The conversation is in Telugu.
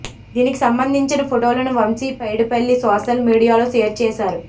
దీనికి సంబందించిన ఫోటోలను వంశీ పైడిపల్లి సోషల్ మీడియాలో షేర్ చేశారు